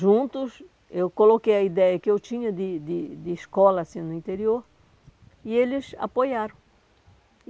Juntos, eu coloquei a ideia que eu tinha de de de escola assim no interior e eles apoiaram.